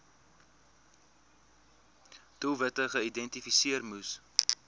doelwitte geïdentifiseer moes